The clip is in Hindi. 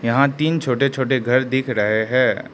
यहां तीन छोटे छोटे घर दिख रहे हैं।